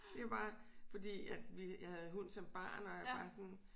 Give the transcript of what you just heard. Det var bare fordi at vi jeg havde hund som barn og jeg var bare sådan